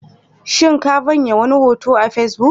Shin ka vanya wani hoto a Facebook?